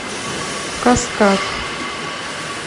каскад